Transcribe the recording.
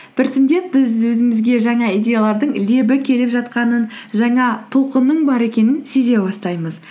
біртіндеп біз өзімізге жаңа идеялардың лебі келіп жатқанын жаңа толқынның бар екенін сезе бастаймыз